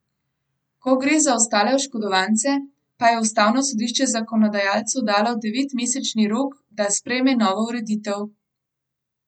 Ko gre za ostale oškodovance, pa je ustavno sodišče zakonodajalcu dalo devetmesečni rok, da sprejme novo ureditev.